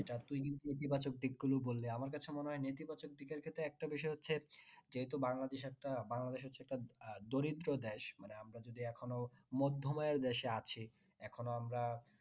বাচক দিক গুলো বললে আমার কাছে মনে হয় নীতি বাচক দিকের ক্ষেত্রে একটা বিষয় হচ্ছে যেহেতু বাংলাদেশ একটা বাংলাদেশ হচ্ছে একটা আহ দরিদ্র দেশ মানে আমরা যদি এখনো মধ্যমের দেশে আছি এখনো আমরা